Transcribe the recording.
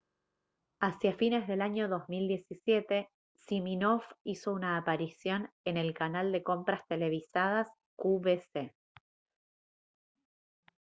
hacia fines del año 2017 siminoff hizo una aparición en el canal de compras televisadas qvc